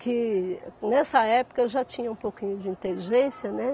que nessa época eu já tinha um pouquinho de inteligência, né?